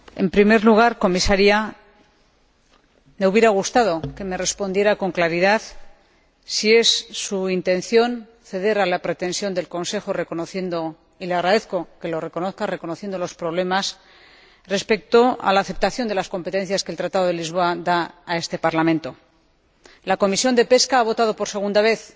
Señor Presidente, en primer lugar, señora Comisaria, me hubiera gustado que me respondiera con claridad si es su intención ceder a la pretensión del Consejo reconociendo y le agradezco que lo reconozca los problemas respecto a la aceptación de las competencias que el Tratado de Lisboa confiere a este Parlamento. La Comisión de Pesca ha votado por segunda vez